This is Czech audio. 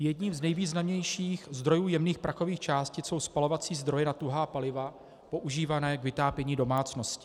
Jedním z nejvýznamnějších zdrojů jemných prachových částic jsou spalovací zdroje na tuhá paliva používané k vytápění domácností.